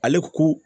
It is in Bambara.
Ale ko